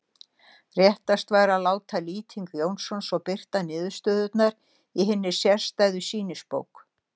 Réttast væri að láta Lýting Jónsson svo birta niðurstöðurnar í hinni sérstæðu sýnisbók.